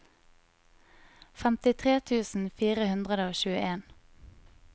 femtitre tusen fire hundre og tjueen